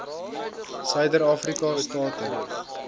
suider afrika state